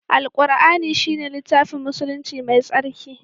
Alqur'ani shine littafin musulunci mai tsarki.